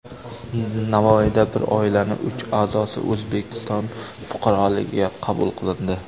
Navoiyda bir oilaning uch a’zosi O‘zbekiston fuqaroligiga qabul qilindi.